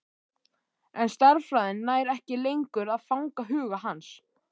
En stærðfræðin nær ekki lengur að fanga huga hans.